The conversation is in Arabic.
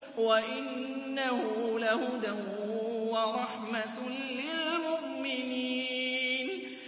وَإِنَّهُ لَهُدًى وَرَحْمَةٌ لِّلْمُؤْمِنِينَ